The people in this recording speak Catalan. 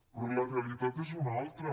però la realitat és una altra